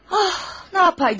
Ah, nə edəydim yəni?